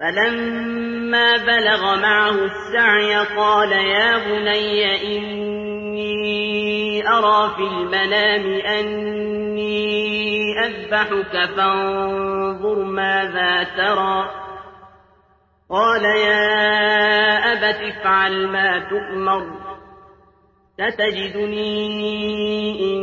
فَلَمَّا بَلَغَ مَعَهُ السَّعْيَ قَالَ يَا بُنَيَّ إِنِّي أَرَىٰ فِي الْمَنَامِ أَنِّي أَذْبَحُكَ فَانظُرْ مَاذَا تَرَىٰ ۚ قَالَ يَا أَبَتِ افْعَلْ مَا تُؤْمَرُ ۖ سَتَجِدُنِي إِن